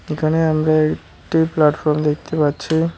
এখানে আমরা একটি প্ল্যাটফর্ম দেখতে পাচ্ছি।